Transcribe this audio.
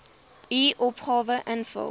u opgawe invul